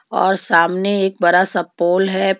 और सामने एक बड़ा सा पॉल है पो--